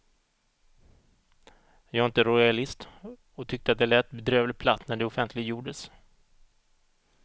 Jag är inte rojalist och tyckte att det lät bedrövligt platt när det offentliggjordes.